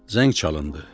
Zəng çalındı.